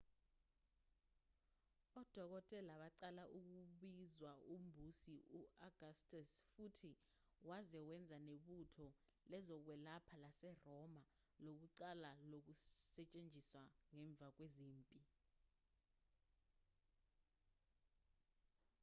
odokotela baqala ukubizwa umbusi u-augustus futhi waze wenza nebutho lezokwelapha laseroma lokuqala lokusetshenziswa ngemva kwezimpi